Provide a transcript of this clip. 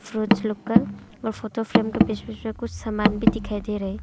लोग का और फोटो फ्रेम के बीच बीच में कुछ सामान भी दिखाई दे रहे है।